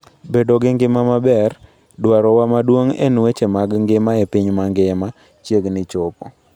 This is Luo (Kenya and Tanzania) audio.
Bedo gi ngima maber, dwarowa maduong en weche mag ngima e piny mangima, chiegni chopo.